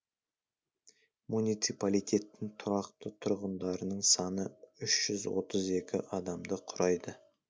муниципалитеттің тұрақты тұрғындарының саны үш жүз отыз екі адамды құрайды